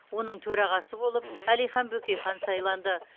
оның төрағасы болып әлихан бөкейхан сайланды